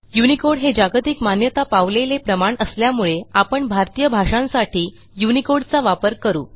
Unicode हे जागतिक मान्यता पावलेले प्रमाण असल्यामुळे आपण भारतीय भाषांसाठी युनिकोड चा वापर करू